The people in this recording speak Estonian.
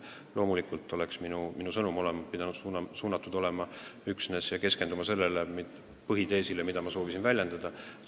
Loomulikult oleks minu sõnum pidanud olema keskendatud üksnes põhiteesile, mida ma soovisin väljendada.